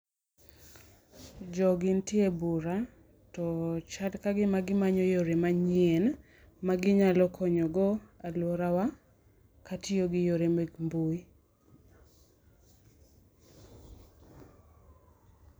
Jogi nitie e bura, to chal kagima gimanyo yore manyien ma ginyalo konyogo alworawa, katiyo gi yore mek mbui.